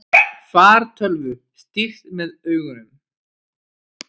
Fartölvu stýrt með augunum